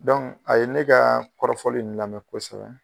a ye ne kaa kɔrɔfɔli in lamɛ kosɛbɛ